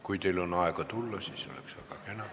Kui teil on aega tulla, siis oleks väga kena.